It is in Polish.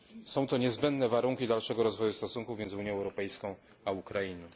Są to niezbędne warunki dalszego rozwoju stosunków między Unią Europejską a Ukrainą.